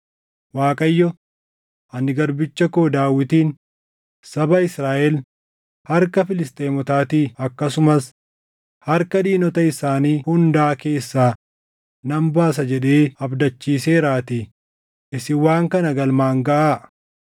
Waaqayyo, ‘Ani garbicha koo Daawitiin saba Israaʼel harka Filisxeemotaatii akkasumas harka diinota isaanii hundaa keessaa nan baasa’ jedhee abdachiiseeraatii isin waan kana galmaan gaʼaa!”